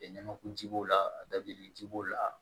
Ɲamaku ji b'o la dabilenni ji b'o la